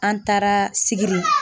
An taara sigiri